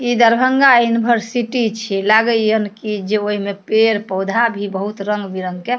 इ दरभंगा यूनिवर्सिटी छीये लागय यन की ओय में पेड़-पौधा भी बहुत रंग-बिरंग के --